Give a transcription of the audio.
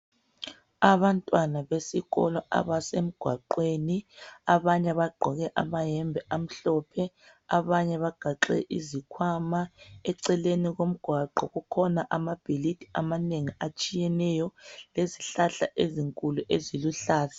Abantwana besikolo abasemgwaqweni ,abanye abagqoke amayembe amhlophe ,abanye bagaxe izikhwama. Eceleni komgwaqo kukhona amabhilidi amanengi atshiyeneyo lezihlahla ezinkulu eziluhlaza.